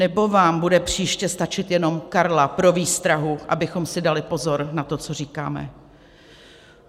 Nebo vám bude příště stačit jenom Karla pro výstrahu, abychom si dali pozor na to, co říkáme?